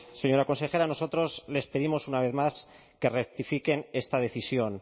señora consejera nosotros les pedimos una vez más que rectifiquen esta decisión